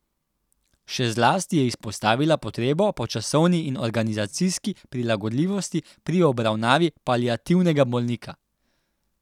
Še zlasti je izpostavila potrebo po časovni in organizacijski prilagodljivosti pri obravnavi paliativnega bolnika.